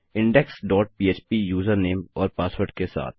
index dot पह्प username और password के साथ